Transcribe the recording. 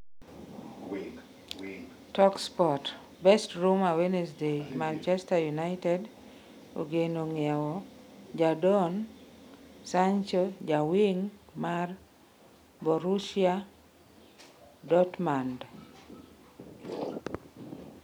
(Talksport) Best Rumour Wednesday Manchester United ogeno ng'iewo jadon Sancho ja wing' mar Borussia Dortmund.